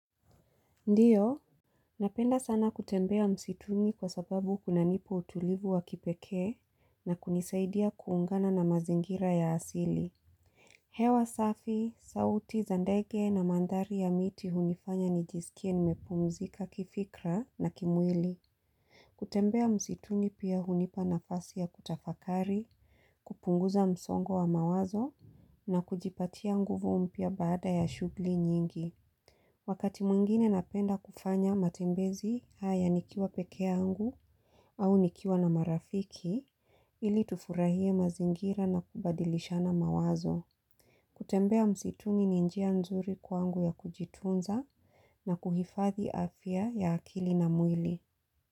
Ndiyo, napenda sana kutembea msituni kwa sababu kunanipa utulivu wa kipekee na kunisaidia kuungana na mazingira ya asili. Hewa safi, sauti za ndege na mandhari ya miti hunifanya nijisikie nimepumzika kifikra na kimwili. Kutembea msituni pia hunipa nafasi ya kutafakari, kupunguza msongo wa mawazo na kujipatia nguvu mpya baada ya shughuli nyingi. Wakati mwingine napenda kufanya matembezi haya nikiwa pekeyangu au nikiwa na marafiki ili tufurahie mazingira na kubadilishana mawazo. Kutembea msituni ni njia nzuri kwangu ya kujitunza na kuhifadhi afya ya akili na mwili.